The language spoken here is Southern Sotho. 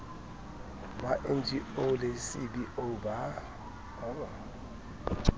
ba ngo le cbo ba